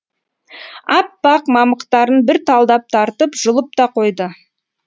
аппақ мамықтарын бір талдап тартып жұлып та қойды